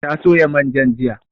Ta soya manjan jiya